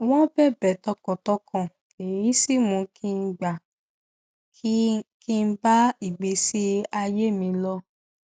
wọn bẹbẹ tọkàntọkàn èyí sì mú kí n gbà á kí n bá ìgbésí ayé mi lọ